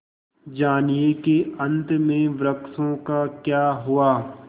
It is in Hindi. जानिए कि अंत में वृक्षों का क्या हुआ